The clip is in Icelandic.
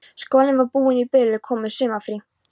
Skólinn var búinn í bili og komið sumarfrí.